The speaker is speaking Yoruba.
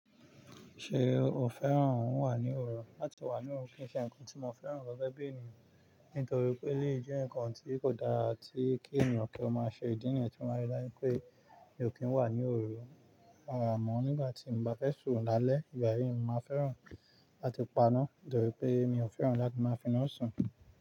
Ṣé o fẹ́ràn wà ní òru? Látí wà ní òru kìí ṣe nǹkan tí mo fẹ́ràn lọ́wọ́ bí ènìyàn, nítorí pé lè jẹ́ nǹkan tí kò dára tí kí ènìyàn kí o má ṣe ìdí nìyẹn tí mó máa rí láìpẹ́. Mi ò kí ń wà ní òru. Rárà mọ́, nígbà tí mo bá fẹ́ sùn lálẹ́, ìgbà yii ni mo máa fẹ́ràn láti paná, torí pé mi ò fẹ́ràn láti máa finá sùn.